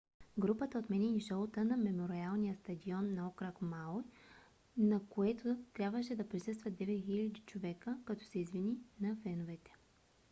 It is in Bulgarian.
групата отмени шоуто на мемориалния стадион на окръг мауи на което трябваше да присъстват 9 000 човека като се извини на феновете